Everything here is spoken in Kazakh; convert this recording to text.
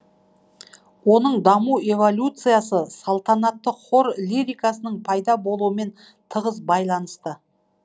оның даму эволюциясы салтанатты хор лирикасының пайда болуымен тығыз байланысты